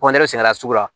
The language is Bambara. kɔndɛli sɛnɛla sugu la